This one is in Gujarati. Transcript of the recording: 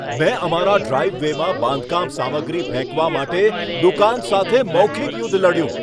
મેં અમારા ડ્રાઈવ વેમાં બાંધકામ સામગ્રી ફેંકવા માટે દુકાન સાથે મૌખિક યુદ્ધ લડ્યું.